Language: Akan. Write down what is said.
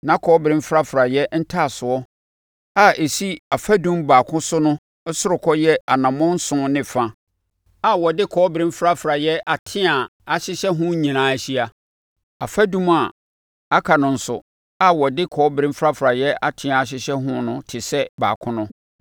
Na kɔbere mfrafraeɛ ntaasoɔ a ɛsi afadum baako so no ɔsorokɔ yɛ anammɔn nson ne fa a wɔde kɔbere mfrafraeɛ ateaa ahyehyɛ ho nyinaa ahyia. Afadum a aka no nso a wɔde kɔbere mfrafraeɛ ateaa ahyehyɛ ho no te sɛ baako no.